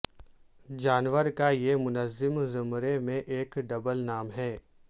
جانور کا یہ منظم زمرے میں ایک ڈبل نام ہے